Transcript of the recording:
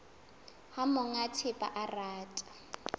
ha monga thepa a rata